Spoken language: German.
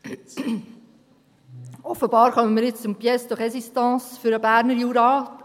Offenbar kommen wir jetzt zur Pièce de Résistance für den Berner Jura.